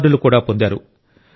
అవార్డులు కూడా పొందారు